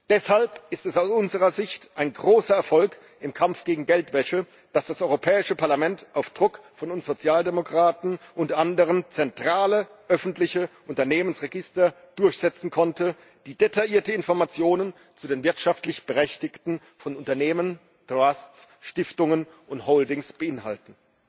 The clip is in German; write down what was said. Deshalb ist es aus unserer Sicht ein großer Erfolg im Kampf gegen Geldwäsche, dass das Europäische Parlament auf Druck von uns Sozialdemokraten und anderen zentrale öffentliche Unternehmensregister durchsetzen konnte, die detaillierte Informationen zu den wirtschaftlich Berechtigten von Unternehmen, Trusts, Stiftungen und Holdings beinhalten.